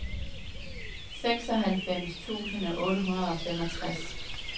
seksoghalvfems tusind otte hundrede og femogtres